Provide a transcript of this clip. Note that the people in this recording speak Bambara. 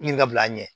Nin dabila ɲɛ